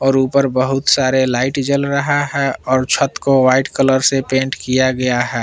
और ऊपर बहुत सारे लाइट जल रहा है और छत को व्हाइट कलर से पेंट किया गया है।